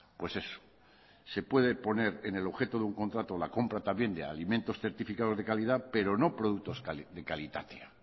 pues eso se puede poner el objeto de un contrato la compra también de alimentos certificados de calidad pero no productos de kalitatea